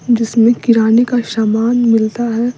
जिसमें किराने का शामान मिलता है।